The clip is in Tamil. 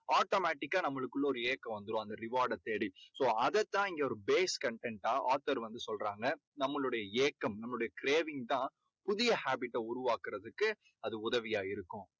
automatic கா நம்மளுக்குள்ள ஒரு ஏக்கம் வந்துடும் அந்த reward டை தேடி so அதைத் தான் இங்க ஒரு base content டா author வந்து சொல்றாங்க. நம்மளுடைய ஏக்கம் நம்மளுடைய craving தான் புதிய habit ட உருவாக்கறதுக்கு அது உதவியா இருக்கும்.